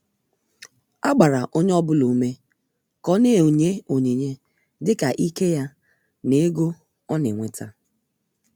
A gbara onye ọbụla ùmè ka ó na-enye onyinye dịka íké ya na ègò ọ̀ na-enweta.